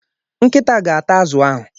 Nkịta ga ata azụ ahu.